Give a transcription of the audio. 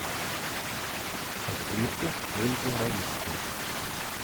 актриса ольга равицкая